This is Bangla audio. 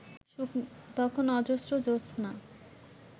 তখন অজস্র জ্যোৎস্না